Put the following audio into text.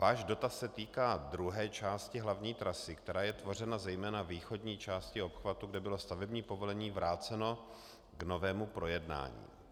Váš dotaz se týká druhé části hlavní trasy, která je tvořena zejména východní částí obchvatu, kde bylo stavební povolení vráceno k novému projednání.